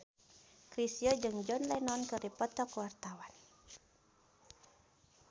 Chrisye jeung John Lennon keur dipoto ku wartawan